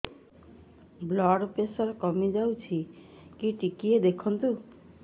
blood pressure କମି ଯାଉଛି କି ଟିକେ ଦେଖନ୍ତୁ